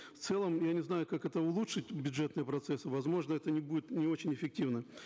в целом я не знаю как это улучшить бюджетные процессы возможно это не будет не очень эффективно